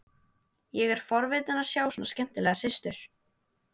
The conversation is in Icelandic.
Ég er forvitinn að sjá svona skemmtilega systur.